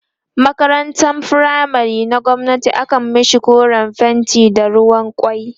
makarantan firamare na gwamnati akan mashi koren fenti da ruwan kwai